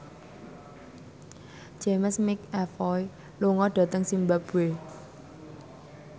James McAvoy lunga dhateng zimbabwe